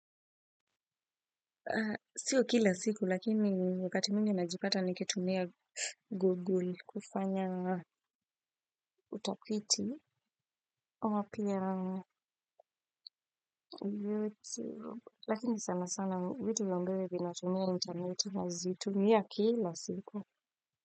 Sio kila siku, lakini wakati mingi najipata nikitumia Google kufanya utafiti. Ama pia, lakini sana sana vitu ambayo vinatumia intaneti nazitumia kila siku.